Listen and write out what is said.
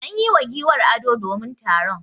An yi wa giwar ado domin taron.